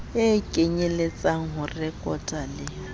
kenyelletsang ho rekota le ho